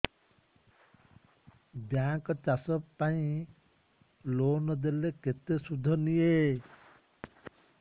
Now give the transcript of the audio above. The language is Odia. ବ୍ୟାଙ୍କ୍ ଚାଷ ପାଇଁ ଲୋନ୍ ଦେଲେ କେତେ ସୁଧ ନିଏ